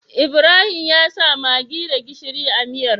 Ibrahim yasa maggi da gishiri a miyar